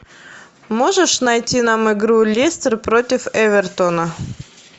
можешь найти нам игру лестер против эвертона